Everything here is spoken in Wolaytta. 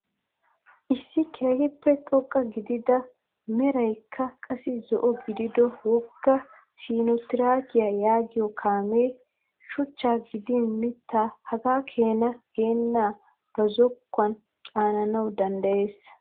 Issi keehippe xoqqa gidida a merayikka qassi zo'o gidido wogga sinootireekkiyaa yaagiyoo kaamee shuchchaa gidin mittaa hagaa keena gennaaga ba zokkuwaan caananawu danddayees.